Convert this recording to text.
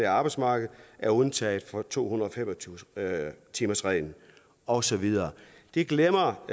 arbejdsmarked er undtaget fra to hundrede og fem og tyve timers reglen og så videre det glemmer